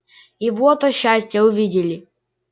и вот о счастье увидели